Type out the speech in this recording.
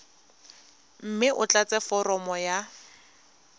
mme o tlatse foromo ya